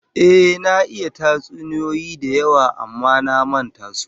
Ehh, na iya tatsuniyoyi da yawa amma na manta wasu